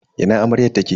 Ina amaryar take?